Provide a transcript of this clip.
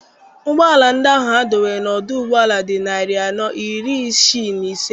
Ụgbọala ndị ahụ a dọwara n'ọdụ ụgbọala dị narị anọ na iri isii na ise.